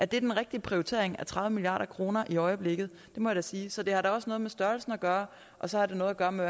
det er den rigtige prioritering af tredive milliard kroner i øjeblikket det må jeg sige så det har da også noget med størrelsen at gøre og så har det noget at gøre med